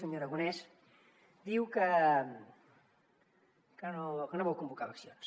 senyor aragonès diu que no vol convocar eleccions